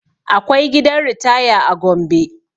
Akwai gidan ritaya a gombe